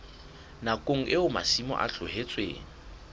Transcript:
nakong eo masimo a tlohetsweng